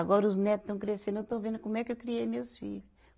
Agora os neto estão crescendo, eu estou vendo como é que eu criei meus filho.